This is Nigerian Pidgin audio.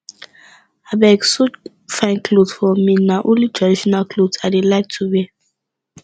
abeg sew fine cloth for me na only traditional cloth i dey like to wear